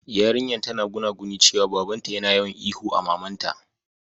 Yarinyan tana gunaguni cewa baba'n ta yana yawan ihu a mamanta.